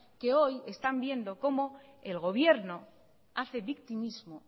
que hoy están viendo cómo el gobierno hace victimismo